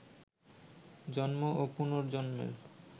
জন্ম ও পুনর্জন্মের